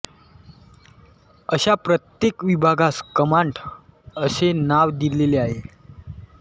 अशा प्रत्येक विभागास कमांड असे नाव दिलेले आहे